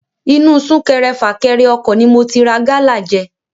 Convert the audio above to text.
Inu súnkẹrẹ-fàkẹrẹ ọkọ̀ ni mo ti rà gala jẹ.